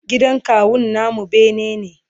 gidan kawun namu bene ne